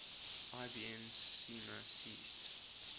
ibn sina ceased